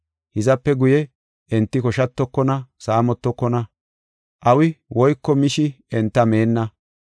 Hizape guye, enti koshatokona, saamotokona. Awi woyko mishi enta meenna.